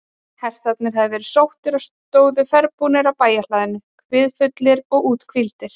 Hestarnir höfðu verið sóttir og stóðu ferðbúnir á bæjarhlaðinu, kviðfullir og úthvíldir.